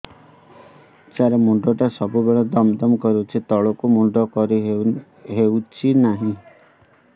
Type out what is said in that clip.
ସାର ମୁଣ୍ଡ ଟା ସବୁ ବେଳେ ଦମ ଦମ କରୁଛି ତଳକୁ ମୁଣ୍ଡ କରି ହେଉଛି ନାହିଁ